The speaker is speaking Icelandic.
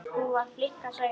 Hún var flink að sauma.